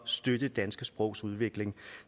støtte det danske sprogs udvikling